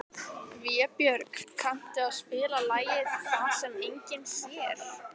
Vébjörg, kanntu að spila lagið „Það sem enginn sér“?